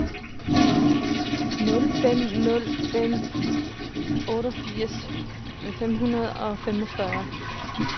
nul fem nul fem otteogfirs fem hundrede og femogfyrre